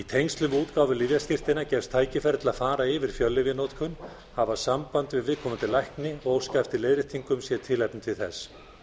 tengslum við útgáfu lyfjaskírteina gefst tækifæri til að fara yfir fjöllyfjanotkun hafa samband við viðkomandi lækni og óska eftir leiðréttingum sé tilefni til þess